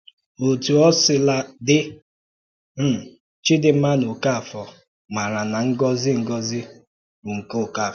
Ótú ọ̀ sílà dị, um Chídìnma na Okáfòr màra na ngọ́zi ngọ́zi bụ́ nke Okáfòr